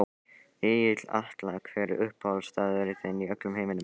Egill Atla Hver er uppáhaldsstaðurinn þinn í öllum heiminum?